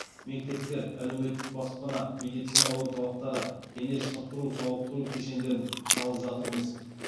мектептер әлеуметтік баспана медицина орталықтары дене шынықтыру сауықтыру кешендерін салып жатырмыз